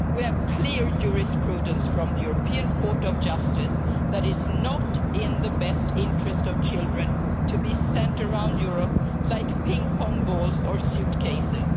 We have clear jurisprudence from the European Court of Justice that it is not in the best interest of children to be sent around Europe like ping pong balls or suitcases.